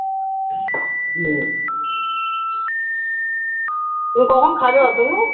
তুমি কখন খাবে অতুনু?